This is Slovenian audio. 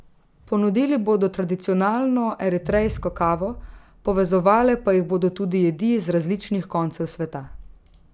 Ponudili bodo tradicionalno eritrejsko kavo, povezovale pa jih bodo tudi jedi z različnih koncev sveta.